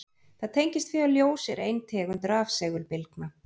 Það tengist því að ljós er ein tegund rafsegulbylgna.